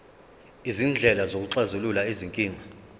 izindlela zokuxazulula izinkinga